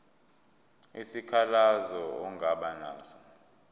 isikhalazo ongaba naso